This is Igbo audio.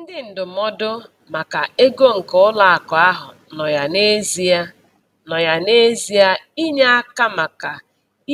Ndị ndụmọdụ maka ego nke ụlọakụ ahụ nọ ya n'ezie nọ ya n'ezie inye aka maka